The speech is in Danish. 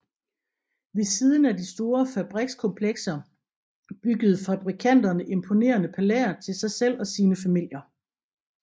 Ved siden af de store fabrikskomplekser byggede fabrikanterne imponerende palæer til sig selv og sine familier